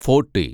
forty